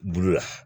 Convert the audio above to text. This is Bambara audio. Bulu la